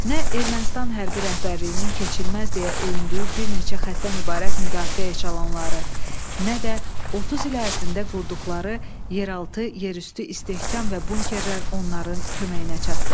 Nə Ermənistan hərbi rəhbərliyinin keçilməz deyə öyündüyü bir neçə xətdən ibarət müdafiə eşalonları, nə də 30 il ərzində qurduqları yeraltı, yerüstü istehkam və bunkerlər onların köməyinə çatdı.